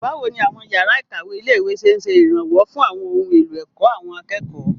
Báwo ni àwọn yàrá ìkàwé ilé-ìwé ṣe ń ṣe ìrànwọ́ fún àwọn ohun èlò ẹ̀kọ́ àwọn akẹ́kọ̀ọ́?